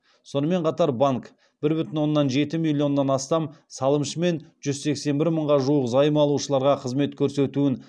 сонымен қатар банк бір бүтін оннан жеті миллионнан астам салымшы мен жүз сексен бір мыңға жуық займ алушыларға қызмет көрсетуін